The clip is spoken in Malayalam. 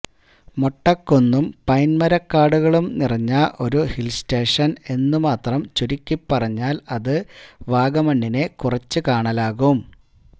മൊട്ടക്കുന്നും പൈന്മരക്കാടുകളും നിറഞ്ഞ ഒരു ഹില്സ്റ്റേഷന് എന്ന് മാത്രം ചുരുക്കിപറഞ്ഞാല് അത് വാഗമണിനെ കുറച്ചു കാണലാകും